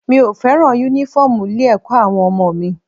Mi ò fẹ́ràn Únífọ́ọ̀mù ilé-ẹ̀kọ́ àwọn ọmọ mi